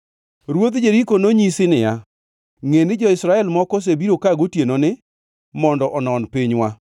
Ruodh Jeriko nonyisi niya, “Ngʼe ni jo-Israel moko osebiro ka gotienoni mondo onon pinywa.”